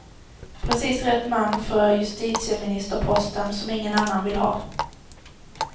Precis rätt man för justitieministerposten, som ingen annan vill ha.